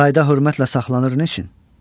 Sarayda hörmətlə saxlanır niçin?